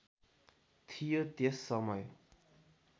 थियो त्यस समय